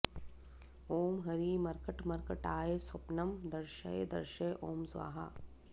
ॐ हरि मर्कट मर्कटाय स्वपन्ं दर्शय दर्शय ॐ स्वाहा